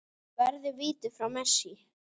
Varði víti frá Messi.